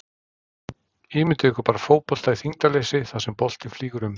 Ímyndið ykkur bara fótbolta í þyngdarleysi þar sem boltinn flýgur um!